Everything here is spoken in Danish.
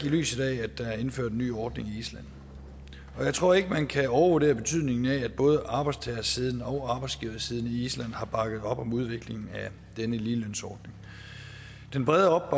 i lyset af at der er indført en ny ordning i island og jeg tror ikke man kan overvurdere betydningen af at både arbejdstagersiden og arbejdsgiversiden i island har bakket op om udviklingen af denne ligelønsordning den brede